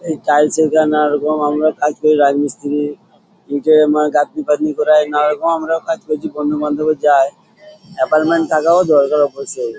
এই টাইলস -এর গায়ে নানারকম আমরা কাজ করি রাজমিস্ত্রীর নিজে মানে গাঁথনি পাতনি করা হয় নানারকম আমরাও কাজ করেছি বন্ধুবান্ধবও যায় এপয়েন্টমেন্ট থাকাও দরকার অবশ্যই।